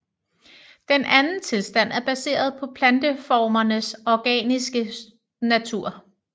Den anden tilstand er baseret på planteformernes organiske natur